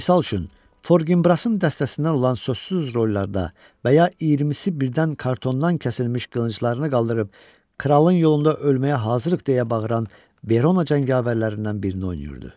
Misal üçün, Forginbrasın dəstəsindən olan sözsüz rollarda və ya iyirmisi birdən kartondan kəsilmiş qılınclarını qaldırıb, kralın yolunda ölməyə hazırıq deyə bağıran Berona cəngavərlərindən birini oynayırdı.